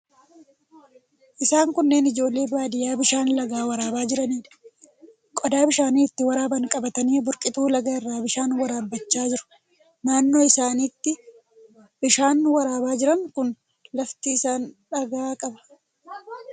Isaan kunneen ijoollee baadiyyaa bishaan lagaa waraabaa jiraniidha. Qodaa bishaan itti waraaban qabatanii burqituu lagaa irraa bishaan waraabbachaa jiru. Naannoo isaan itti bishaan waraabaa jiran kun lafti isaa dhagaa qaba.